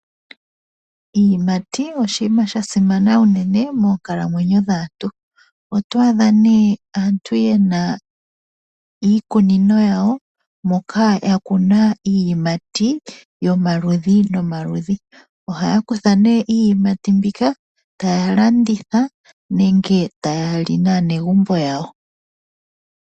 Iiyimati oshinima sha simana unene moonkalamwenyo dhaantu . Oto adha nee aantu yena iikunino yawo moka yakuna iiyimati yomaludhi nomaludhi. Ohaya kutha nee iiyimati mbika taya landitha nenge tayali naanegumbo yawo.